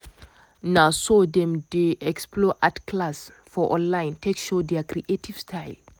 na so dem dey explore art class for online take show their creative style.